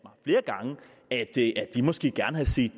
at vi måske gerne havde set